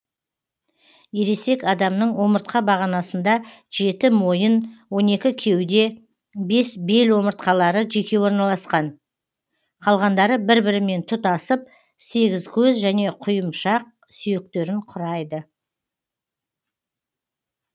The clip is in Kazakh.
ересек адамның омыртқа бағанасында жеті мойын он екі кеуде бес бел омыртқалары жеке орналасқан қалғандары бір бірімен тұтасып сегізкөз және құйымшақ сүйектерін құрайды